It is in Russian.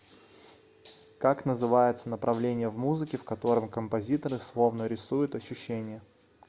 как называется направление в музыке в котором композиторы словно рисуют ощущения